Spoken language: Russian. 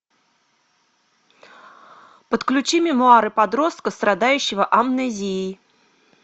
подключи мемуары подростка страдающего амнезией